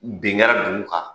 Bin kɛra dugu kan